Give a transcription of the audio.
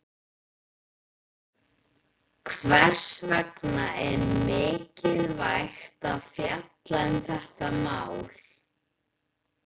Hvers vegna er mikilvægt að fjalla um þetta mál?